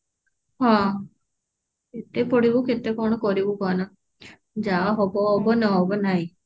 ହଁ କେତେ ପଢିବୁ କେତେ କଣ କରିବୁ କାହ ନା ଯାହା ହବ ହବ ନହବ ନାଇ